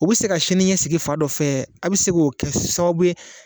U bi se ka sini ɲɛsigi fan dɔ fɛ a bi se k'o kɛ sababu ye